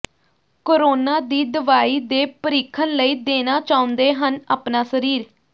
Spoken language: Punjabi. ਕੋਰੋਨਾ ਦੀ ਦਵਾਈ ਦੇ ਪਰੀਖਣ ਲਈ ਦੇਣਾ ਚਾਹੁੰਦੇ ਹਨ ਅਪਣਾ ਸਰੀਰ